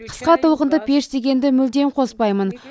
қысқа толқынды пеш дегенді мүлдем қоспаймын